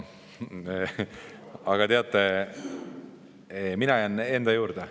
Aga teate, mina jään enda juurde.